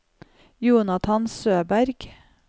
Jonathan Søberg